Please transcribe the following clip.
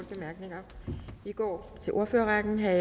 bemærkninger vi går over til ordførerrækken herre